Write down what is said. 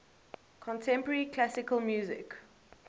contemporary classical music